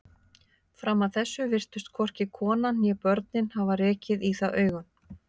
Fram að þessu virtust hvorki konan né börnin hafa rekið í það augun.